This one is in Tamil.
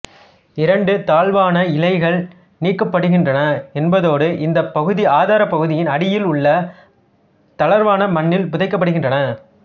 இரண்டு தாழ்வான இலைகள் நீக்கப்படுகின்றன என்பதோடு இந்தப் பகுதி ஆதாரப்பகுதியின் அடியில் உள்ள தளர்வான மண்ணில் புதைக்கப்படுகின்றன